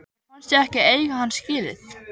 Mér fannst ég ekki eiga hann skilið.